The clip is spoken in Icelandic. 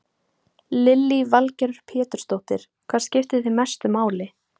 Lillý Valgerður Pétursdóttir: Hvað skiptir þig mestu máli?